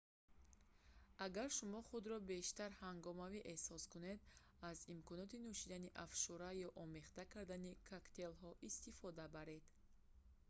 агар шумо худро бештар ҳангомавӣ эҳсос кунед аз имконоти нӯшидани афшура ё омехта кардани коктейлҳо истифода баред